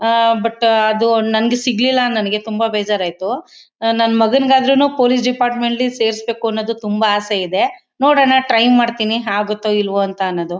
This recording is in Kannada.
ಆ ಬಟ್ ಅದು ನಂಗೆ ಸಿಗ್ಲಿಲ್ಲ ನಂಗೆ ತುಂಬಾ ಬೇಜಾರಾಯಿತು ನನ್ ಮಗನಿಗಾದ್ರೂ ಪೊಲೀಸ್ ಡಿಪಾರ್ಟ್ಮೆಂಟ್ ಲಿ ಸೇರಿಸಬೇಕು ಅನೋದು ತುಂಬಾ ಅಸೆ ಇದೆ ನೋಡೋಣ ಟ್ರೈ ಮಾಡ್ತೀನಿ ಆಗುತ್ತೋ ಇಲ್ವೋ ಅನ್ನೋದು.